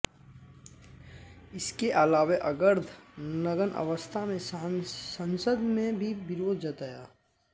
इसके अलावे अर्द्ध नग्न अवस्था में संसद में भी विरोध जताया